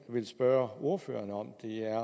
vil spørge ordføreren